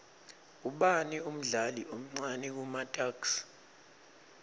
ubani umdlali omcani kumatuks